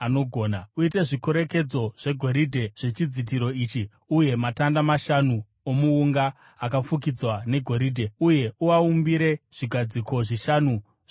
Uite zvikorekedzo zvegoridhe zvechidzitiro ichi uye matanda mashanu omuunga akafukidzwa negoridhe. Uye uaumbire zvigadziko zvishanu zvendarira.